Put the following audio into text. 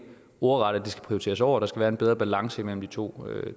ordret at det skal prioriteres over der skal være en bedre balance imellem de to